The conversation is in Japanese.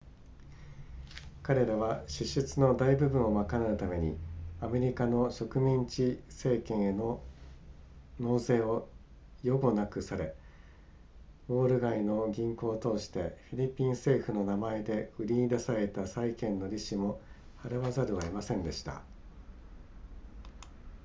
彼らは支出の大部分を賄うためにアメリカの植民地政権への納税を予後なくされウォール街の銀行を通してフィリピン政府の名前で売りに出されていた債券の利子も払わざるを得ませんでした